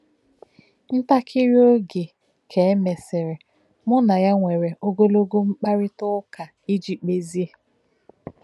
Ǹtakírí ògè ka e mesịrị, mụ́ na ya nwere ogologo mkpáríta ụ̀ka iji kpezie.